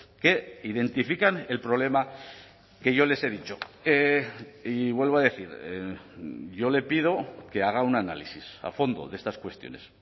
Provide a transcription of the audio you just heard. que identifican el problema que yo les he dicho y vuelvo a decir yo le pido que haga un análisis a fondo de estas cuestiones